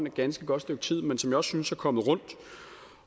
et ganske godt stykke tid men som jeg også synes er kommet rundt